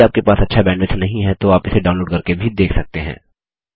यदि आपके पास अच्छा बैंडविड्थ नहीं है तो आप इसे डाउनलोड करके भी देख सकते हैं